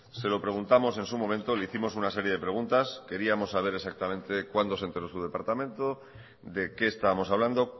se lo preguntamos en su momento le hicimos una serie de preguntas queríamos saber exactamente cuándo se enteró su departamento de qué estábamos hablando